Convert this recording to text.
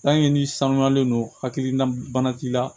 n'i sanuyalen don hakilina bana k'i la